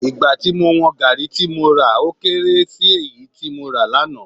Ìgbà tí mo wọn Gaàrí tí mo rà ó kééré èyí tí mo rà lánàá